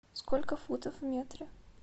сколько футов в метре